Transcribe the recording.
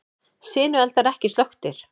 Sinueldar ekki slökktir